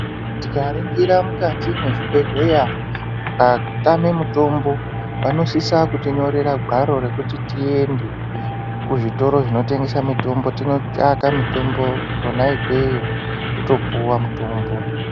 Tika ningira mukati mezvi bhedhleya maka tame mitombo vano sisa kuti nyorera gwaro rekuti tiiende kuzvi toro zvino tengesa mitombo tino tsvaka mitombo kona ikweyo toto puwa mitombo .